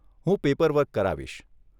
હું પેપરવર્ક કરાવીશ.